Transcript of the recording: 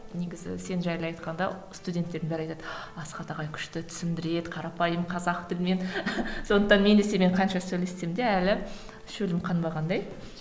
негізі сен жайлы айтқанда студентердің бәрі айтады асхат ағай күшті түсіндіреді қарапайым қазақ тілімен сондықтан мен де сенімен қанша сөйлессем де әлі шөлім қанбағандай